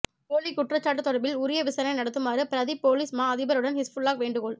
போலி குற்றச்சாட்டு தொடர்பில் உரிய விசாரணை நடத்துமாறு பிரதிப் பொலிஸ் மா அதிபரிடன் ஹிஸ்புல்லாஹ் வேண்டுகோள்